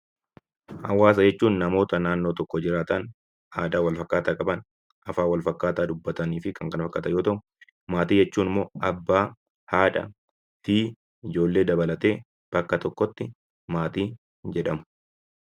Hawaasa jechuun namoota naannoo tokko jiraatan aadaa wal fakkaataa qaban afaan wal fakkaataa dubbatan yemmuu ta'u, maatii jechuun immoo abbaa haadha fi ijoollee dabalatee bakka tokkotti maatii jedhamu.